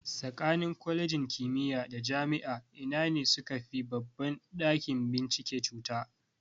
Tsakanin Kwalejin kimiya da Jami'a ina ne sukafi babban ɗakin bincike cuta?